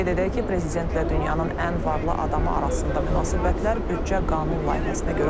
Qeyd edək ki, prezidentlə dünyanın ən varlı adamı arasında münasibətlər büdcə qanun layihəsinə görə pozulub.